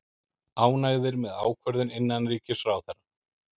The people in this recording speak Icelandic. Ánægðir með ákvörðun innanríkisráðherra